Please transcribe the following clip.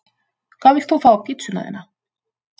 Hvað vilt þú fá á pizzuna þína?